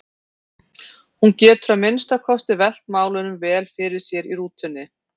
Hún getur að minnsta kosti velt málunum vel fyrir sér í rútunni.